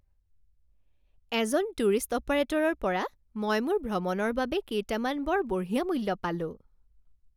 এজন টুৰিষ্ট অপাৰেটৰৰ পৰা মই মোৰ ভ্ৰমণৰ বাবে কেইটামান বৰ বঢ়িয়া মূল্য পালোঁ